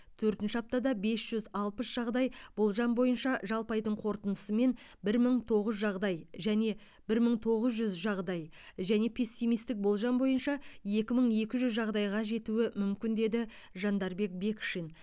төртінші аптада бес жүз алпыс жағдай болжам бойынша жалпы айдың қорытындысымен бір мың тоғыз жағдай және бір мың тоғыз жүз жағдай және пессимистік болжам бойынша екі мың екі жүз жағдайға жетуі мүмкін деді жандарбек бекшин